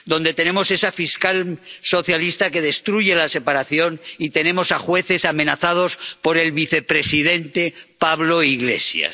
Donde tenemos esa fiscal socialista que destruye la separación y tenemos a jueces amenazados por el vicepresidente Pablo Iglesias.